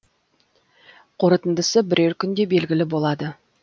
қорытындысы бірер күнде белгілі болады